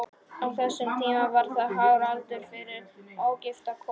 Á þessum tíma var það hár aldur fyrir ógifta konu.